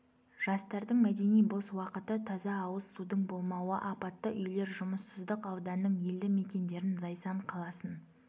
жастардың мәдени бос уақыты таза ауыз судың болмауы апатты үйлер жұмыссыздық ауданның елді мекендерін зайсан қаласын